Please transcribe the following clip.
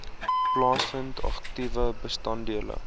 plaasvind aktiewe bestanddele